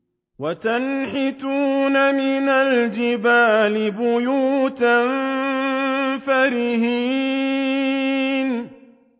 وَتَنْحِتُونَ مِنَ الْجِبَالِ بُيُوتًا فَارِهِينَ